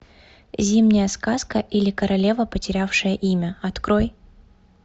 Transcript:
зимняя сказка или королева потерявшая имя открой